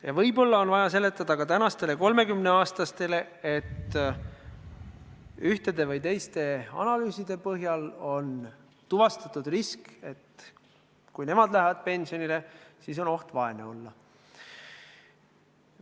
Ja võib-olla on vaja seletada ka tänastele 30-aastastele, et ühtede või teiste analüüside põhjal on tuvastatud risk, et kui nemad lähevad pensionile, siis on oht vaene olla.